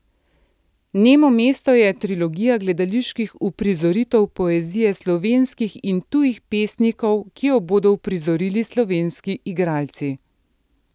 Nemo mesto je trilogija gledaliških uprizoritev poezije slovenskih in tujih pesnikov, ki jo bodo uprizorili slovenski igralci.